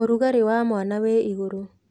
Ũrugarĩ wa mwana wĩ igũrũ.